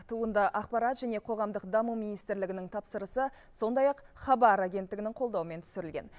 туынды ақпарат және қоғамдық даму министрлігінің тапсырысы сондай ақ хабар агенттігінің қолдауымен түсірілген